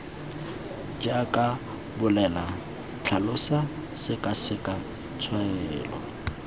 jaaka bolela tlhalosa sekaseka tshwaela